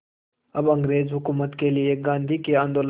अब अंग्रेज़ हुकूमत के लिए गांधी के आंदोलन